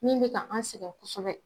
Min bɛ ka an sɛgɛn kosɛbɛ